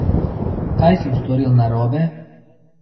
Kaj sem storil narobe?